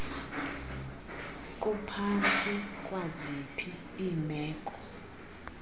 kuphantsi kwaziphi iimeko